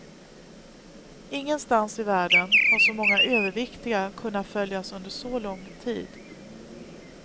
Ingenstans i världen har så många överviktiga kunnat följas under så lång tid.